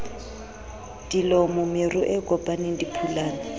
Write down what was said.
dilomo meru e kopaneng diphulana